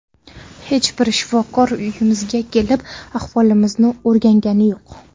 Hech bir shifokor uyimizga kelib, ahvolimizni o‘rgangani yo‘q.